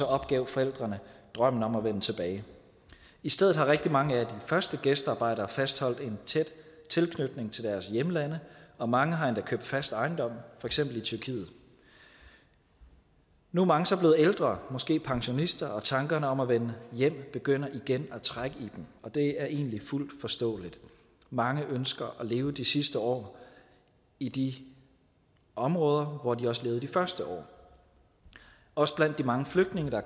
opgav forældrene drømmen om at vende tilbage i stedet har rigtig mange af de første gæstearbejdere fastholdt en tæt tilknytning til deres hjemlande og mange har endda købt fast ejendom for eksempel i tyrkiet nu er mange så blevet ældre måske pensionister og tankerne om at vende hjem begynder igen at trække i dem og det er egentlig fuldt forståeligt mange ønsker at leve de sidste år i de områder hvor de også levede de første år også blandt de mange flygtninge der